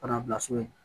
bila so in na